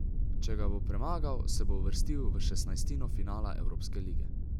Če ga bo premagal, se bo uvrstil v šestnajstino finala evropske lige.